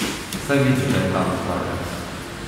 Saj vidiš, da je tam, tvoja tetka.